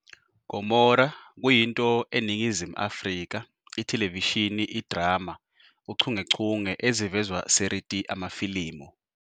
Gomora kuyinto eNingizimu Afrika ithelevishini idrama uchungechunge ezivezwa Seriti Amafilimu.